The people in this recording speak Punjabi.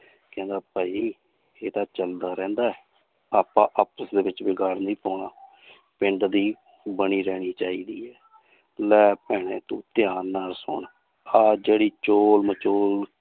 ਕਹਿੰਦਾ ਭਾਈ ਇਹ ਤਾਂ ਚੱਲਦਾ ਰਹਿੰਦਾ ਹੈ, ਆਪਾਂ ਆਪਸ ਦੇ ਵਿੱਚ ਵਿਗਾੜ ਨਹੀਂ ਪਾਉਣਾ ਪਿੰਡ ਦੀ ਬਣੀ ਰਹਿਣੀ ਚਾਹੀਦੀ ਹੈ ਲੈ ਭੈਣੇ ਤੂੰ ਧਿਆਨ ਨਾਲ ਸੁਣ ਆਹ ਜਿਹੜੀ ਚੋਲ ਮਚੋਲ